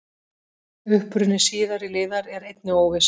Uppruni síðari liðar er einnig óviss.